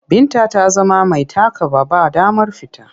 Binta ta zama mai takaba. Ba damar fita.